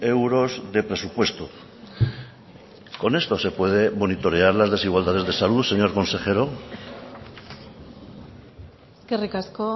euros de presupuesto con esto se puede monitorear las desigualdades de salud señor consejero eskerrik asko